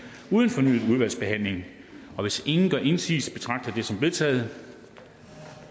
uden fornyet udvalgsbehandling hvis ingen gør indsigelse betragter jeg det som vedtaget